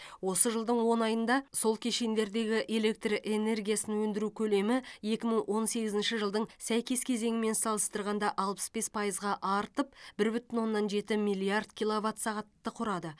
осы жылдың он айында сол кешендердегі электр энергиясын өндіру көлемі екі мың он сегізінші жылдың сәйкес кезеңімен салыстырғанда алпыс бес пайызға артып бір бүтін оннан жеті миллиард киловатт сағатты құрады